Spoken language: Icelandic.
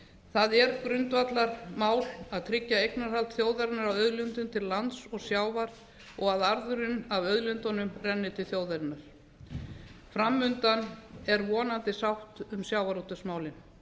það er grundvallarmál þjóðarinnar á auðlindum til lands og sjávar og að arðurinn af auðlindunum renni til þjóðarinnar fram undan er vonandi sátt um sjávarútvegsmálin